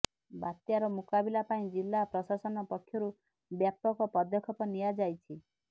ବାତ୍ୟାର ମୁକାବିଲା ପାଇଁ ଜିଲ୍ଲା ପ୍ରଶାସନ ପକ୍ଷରୁ ବ୍ୟାପକ ପଦକ୍ଷେପ ନିଆଯାଇଛି